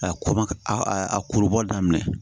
A ko ma a kuru bɔ daminɛ